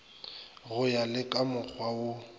go ya le kamokgwa wo